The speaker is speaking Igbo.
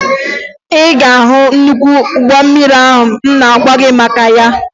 Ị ga-ahụ nnukwu ụgbọ mmiri ahụ m na-agwa gị maka ya